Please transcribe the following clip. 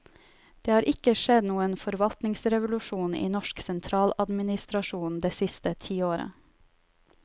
Det har ikke skjedd noen forvaltningsrevolusjon i norsk sentraladminstrasjon det siste tiåret.